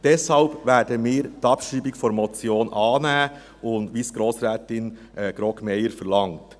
Deshalb werden wir die Abschreibung der Motion annehmen, wie es Grossrätin Grogg-Meyer verlangt.